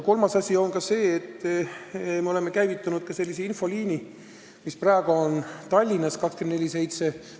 Kolmas asi on see, et me oleme käivitanud sellise infoliini, mis praegu Tallinnas töötab 24/7.